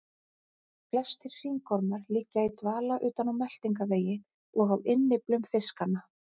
Flestir hringormar liggja í dvala utan á meltingarvegi og á innyflum fiskanna.